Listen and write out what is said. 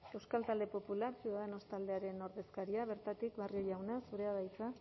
euskal talde popular ciudadanos taldearen ordezkaria bertatik barrio jauna zurea da hitza